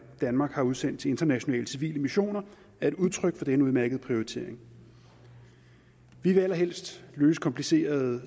danmark har udsendt til internationale civile missioner er et udtryk for denne udmærkede prioritering vi vil allerhelst løse komplicerede